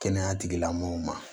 Kɛnɛya tigilamɔgɔw ma